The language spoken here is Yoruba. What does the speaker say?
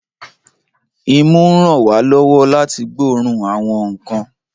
Imú ń ràn wá lọ́wọ́ láti gbóòórùn àwọn nǹkan